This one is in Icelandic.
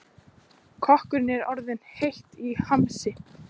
Kokkinum er orðið heitt í hamsi.